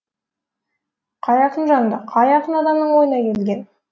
қай ақынжанды қай ақын адамның ойына келген